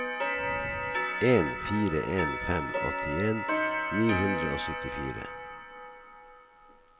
en fire en fem åttien ni hundre og syttifire